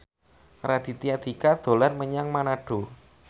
Raditya Dika dolan menyang Manado